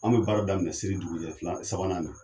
An be baara daminɛ seli dugujɛ fila sabanan ne